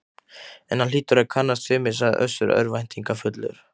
En hann hlýtur að kannast við mig, sagði Össur örvæntingarfullur.